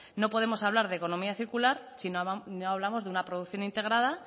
no podemos hablar de economía circular si no hablamos de una producción integrada